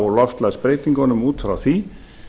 á loftslagsbreytingunum út frá því